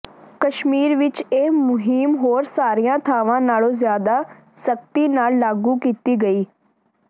ਕਸ਼ਮੀਰ ਵਿੱਚ ਇਹ ਮੁਹਿੰਮ ਹੋਰ ਸਾਰੀਆਂ ਥਾਵਾਂ ਨਾਲੋਂ ਜ਼ਿਆਦਾ ਸਖ਼ਤੀ ਨਾਲ ਲਾਗੂ ਕੀਤੀ ਗਈ